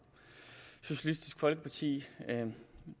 socialistisk folkeparti den